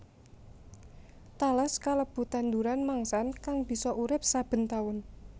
Tales kalebu tanduran mangsan kang bisa urip saben taun